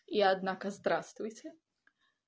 и однако здравствуйте